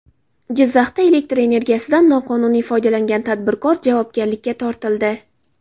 Jizzaxda elektr energiyasidan noqonuniy foydalangan tadbirkor javobgarlikka tortildi.